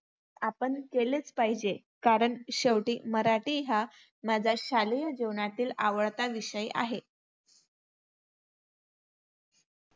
आपण केलेच पाहिजे. कारण शेवटी मराठी हा माझा शालेय जीवनातील आवडता विषय आहे.